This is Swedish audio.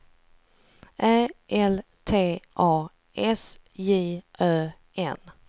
Ä L T A S J Ö N